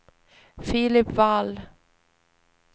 Filip Wall